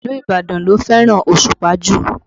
Ìlú Ibadan ló fẹ́ràn Òṣùpá jù